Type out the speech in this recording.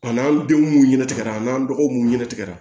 An n'an denw ɲɛna tigɛra an'an dɔgɔw ɲɛna tigɛra